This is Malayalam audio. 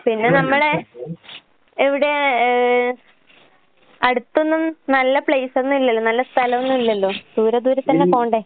പിന്ന നമ്മള് എവിടെയാ ഏ അടുത്തൊന്നും നല്ല പ്ലെയിസൊന്നും ഇല്ലല്ലോ, നല്ല സ്ഥലോന്നും ഇല്ലല്ലോ? ദൂരദൂരത്തന്നെ പോകണ്ടേ.